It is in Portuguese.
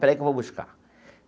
Espera aí que eu vou buscar.